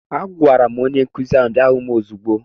Agwara m onye nkụzi ahụ bịa hụ m ozigbo!